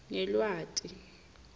ngelweti